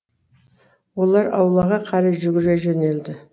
олар аулаға қарай жүгіре жөнелді